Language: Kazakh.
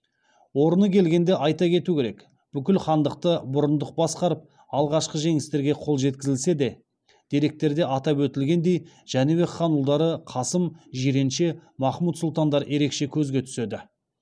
орны келгенде айта кету керек бүкіл хандықты бұрындық басқарып алғашқы жеңістерге қол жеткізілсе де деректерде атап өтілгеніндей жәнібек хан ұлдары қасым жиренше махмұд сұлтандар ерекше көзге түседі